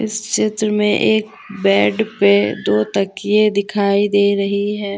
इस चित्र में एक बेड पे दो तकिए दिखाई दे रही है।